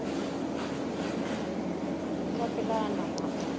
ka pela a nama a